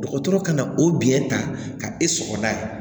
Dɔgɔtɔrɔ ka na o biyɛn ta ka e sɔgɔlan ye